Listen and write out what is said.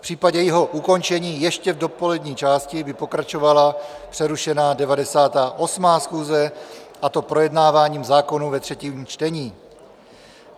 V případě jejího ukončení ještě v dopolední části by pokračovala přerušená 98. schůze, a to projednáváním zákonů ve třetím čtení.